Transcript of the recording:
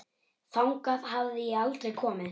Þangað hafði ég aldrei komið.